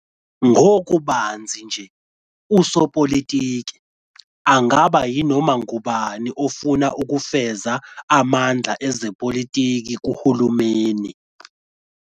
Ngokubanzi nje, "usopolitiki" angaba yinoma ngubani ofuna ukufeza amandla ezepolitiki kuhulumeni.